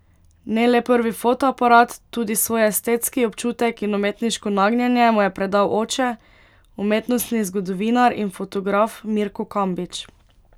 Ne le prvi fotoaparat, tudi svoj estetski občutek in umetniško nagnjenje mu je predal oče, umetnostni zgodovinar in fotograf Mirko Kambič.